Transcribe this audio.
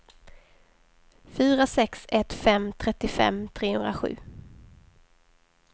fyra sex ett fem trettiofem trehundrasju